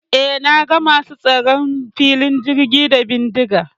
E, na ga masu tsaron filin jirgin da bindiga.